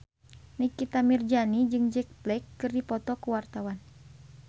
Nikita Mirzani jeung Jack Black keur dipoto ku wartawan